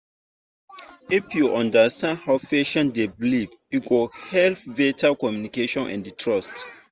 if you understand how patient dey believe e go help better communication and trust.